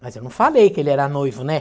Mas eu não falei que ele era noivo, né?